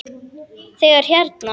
Þegar hérna.